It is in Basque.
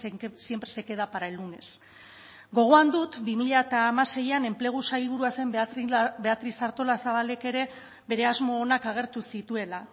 que siempre se queda para el lunes gogoan dut bi mila hamaseian enplegu sailburua zen beatriz artolazabalek ere bere asmo onak agertu zituela